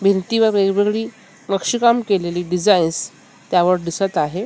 भिंतीवर वेगवेगळी नक्षीकाम केलेली डिझाइन्स त्यावर दिसत आहे.